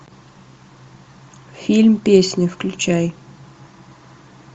фильм песня включай